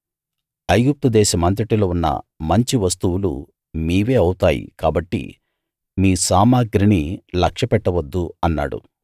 ఐగుప్తు దేశమంతటిలో ఉన్న మంచి వస్తువులు మీవే అవుతాయి కాబట్టి మీ సామగ్రిని లక్ష్యపెట్టవద్దు అన్నాడు